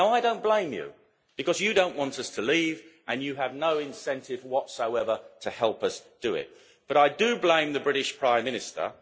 Now I do not blame you, because you do not want us to leave and you have no incentive whatsoever to help us do it, but I do blame the British Prime Minister.